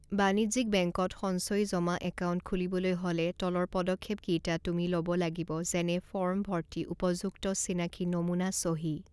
বাণিজ্যিক বেংকত সঞ্চয়ী জমা একাউন্ট খুলিবলৈ হ'লে তলৰ পদক্ষেপ কেইটা তুমি ল'ব লাগিব যেনে ফৰ্ম ভৰ্তি উপযুক্ত চিনাকি নমুনা চহী।